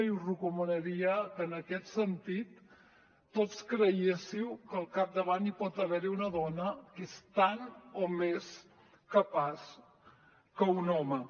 i us recomanaria que en aquest sentit tots creguéssiu que al capdavant hi pot haver una dona que és tant o més capaç que un home